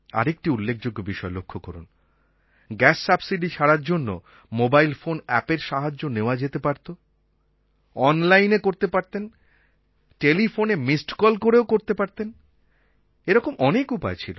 আর একটি উল্লেখযোগ্য বিষয় লক্ষ করুন গ্যাস সাবসিডি ছাড়ার জন্য মোবাইল ফোন অ্যাপএর সাহায্য নেওয়া যেতে পারত অনলাইনএ করতে পারতেন টেলিফোনে মিস্ড কল করেও করতে পারতেন এরকম অনেক উপায় ছিল